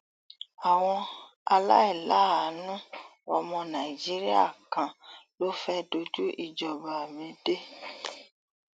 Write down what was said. àwọn aláìláàánú ọmọ nàìjíríà kan ló fẹẹ dojú ìjọba mi dé